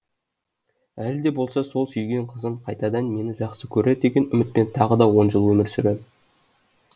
әлі де болса сол сүйген қызым қайтадан мені жақсы көрер деген үмітпен тағы он жыл өмір сүрем